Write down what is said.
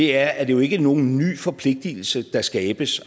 er at det jo ikke er nogen ny forpligtelse der skabes